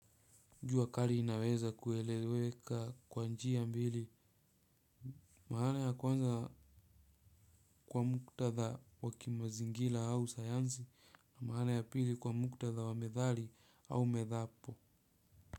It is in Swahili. Jua kali linaweza kueleweka kwa njia mbili maana ya kwanza kwa muktadha wa kimazingira au sayansi na maana ya pili kwa muktadha wa methali au medhapo.